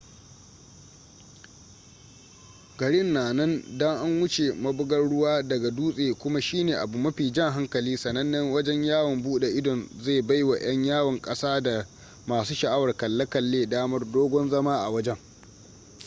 garin na nan da an wuce mabugar ruwa daga dutse kuma shine abu mafi jan hankali sanannen wajen yawon bude idon zai baiwa yan yawon kasada da masu sha'awar kalle-kalle damar dogon zama a wajen